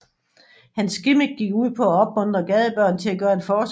Hans gimmick gik ud på at opmuntre gadebørn til at gøre en forskel